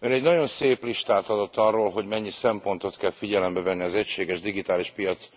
Ön egy nagyon szép listát adott arról, hogy mennyi szempontot kell figyelembe venni az egységes digitális piac